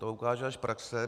To ukáže až praxe.